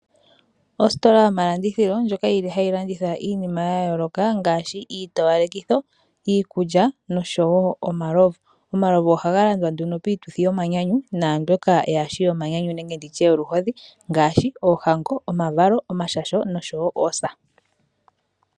Ositola yomalandithilo ndjoka yi li hayi landitha iinima ya yooloka ngaashi iitowalekitho, iikulya nosho wo omalovu. Omalovu ohaga landwa nduno piituthi yomanyanyu naambyoka yaa shi yomanyanyu nenge ndi tye yoluhodhi ngaashi oohango, omavalo, omashasho noosa.